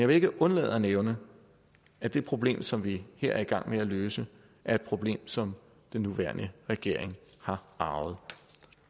vil ikke undlade at nævne at det problem som vi her er i gang med at løse er et problem som den nuværende regering har arvet